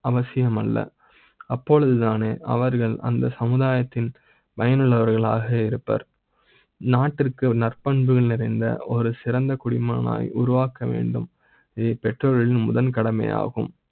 அவசியம் அல்ல அப்போது தானே அவர்கள் அந்த சமுதாய த்தில் வல்லவர்களாக. இப்பர் நாட்டுக்கு நற்பண்புகள் நிறைந்த ஒரு சிறந்த குடிமகனாக உருவாக்க வேண்டும். பெற்றோரின் முதல் கடமை யாகும்.